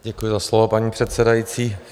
Děkuji za slovo, paní předsedající.